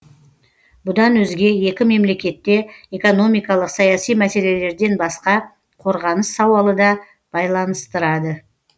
бұдан өзге екі мемлекетте экономикалық саяси мәселелерден басқа қорғаныс сауалы да байланыстырады